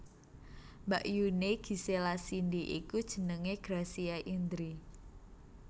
Mbakyuné Gisela Cindy iku jenengé Gracia Indri